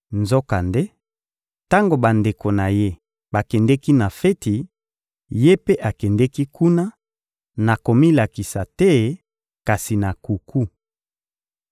Nzokande, tango bandeko na Ye bakendeki na feti, Ye mpe akendeki kuna, na komilakisa te, kasi na nkuku.